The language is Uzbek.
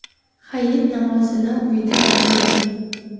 Hayit namozini uyda ado eting.